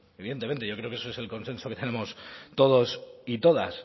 evidentemente yo creo que eso es el consenso que tenemos todos y todas